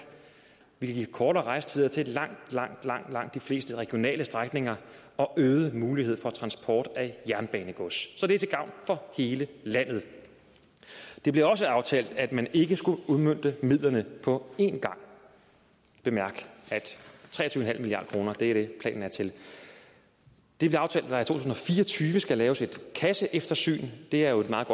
vi kan give kortere rejsetider til langt langt langt de fleste regionale strækninger og øget mulighed for transport af jernbanegods så det er til gavn for hele landet det blev også aftalt at man ikke skulle udmønte midlerne på en gang bemærk at tre og tyve milliard kroner er det planen er til det blev aftalt at tusind og fire og tyve skal laves et kasseeftersyn det er jo et meget